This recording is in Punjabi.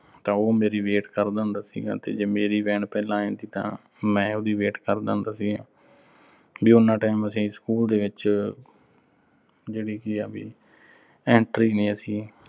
ਤਾਂ ਉਹ ਮੇਰੀ wait ਕਰਦਾ ਹੁੰਦਾ ਸੀਗਾ ਤੇ ਜੇ ਮੇਰੀ van ਪਹਿਲਾਂ ਆ ਜਾਂਦੀ ਤਾਂ ਮੈਂ ਉਹਦੀ wait ਕਰਦਾ ਹੁੰਦਾ ਸੀਗਾ। ਵੀ ਉਨਾ time ਅਸੀਂ school ਦੇ ਵਿੱਚ ਜਿਹੜੀ ਕੀ ਆ ਵੀ, entry ਨੀਂ ਅਸੀਂ